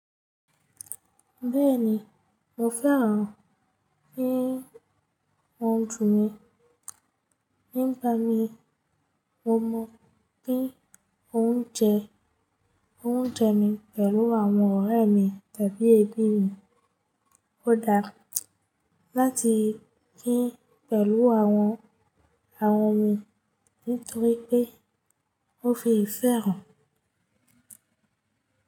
Bẹ́ẹ̀ni, mo fẹ́ràn kí wọ́n dùn mí. Nígbà mí mo mọ̀ pé ó ń jẹ, ó ń jẹ mí pẹ̀lú àwọn ọ̀rẹ́ mi tàbí ẹbí mi. Ó dára láti kí pẹ̀lú àwọn àwọn mi nítorí pé ó fi ìfẹ́ hàn.